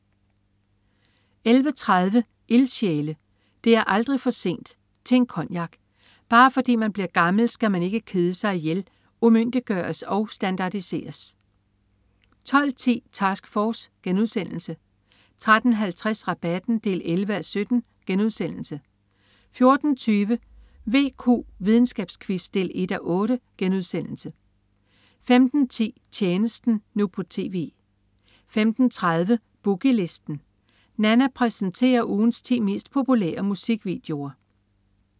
11.30 Ildsjæle. Det er aldrig for sent ... til en cognac. Bare fordi man bliver gammel, skal man ikke kede sig ihjel, umyndiggøres og standardiseres 12.10 Task Force* 13.50 Rabatten 11:17* 14.20 VQ, videnskabsquiz 1:8* 15.10 Tjenesten, nu på TV 15.30 Boogie Listen. Nanna præsenterer ugens 10 mest populære musikvideoer